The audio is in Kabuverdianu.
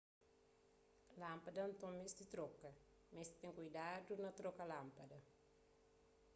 lánpada nton meste troka meste ten kuidadu na troka lánpada